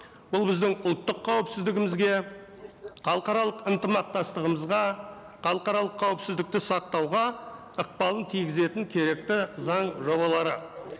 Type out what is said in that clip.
бұл біздің ұлттық қауіпсіздігімізге халықаралық ынтымақтастығымызға халықаралық қауіпсіздікті сақтауға ықпалын тигізетін керекті заң жобалары